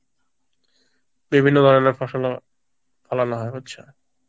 বিভিন্ন ধরনের ফসল ফলানো হয় হচ্ছে